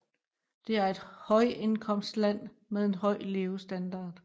Det er et højindkomstland med en høj levestandard